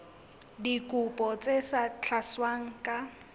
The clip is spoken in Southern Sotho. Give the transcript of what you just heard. dikopo tse sa tlatswang ka